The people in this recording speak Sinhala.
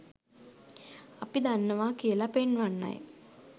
අපි දන්නවා කියලා පෙන්වන්නයි.